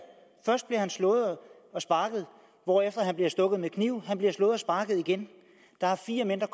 først bliver han slået og sparket hvorefter han bliver stukket med kniv han bliver slået og sparket igen der er fire mænd der